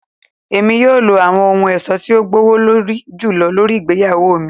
Emi yoo lo awọn ohun ọṣọ ti o gbowolori julọ lori igbeyawo mi